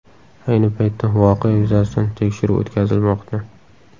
Ayni paytda voqea yuzasidan tekshiruv o‘tkazilmoqda.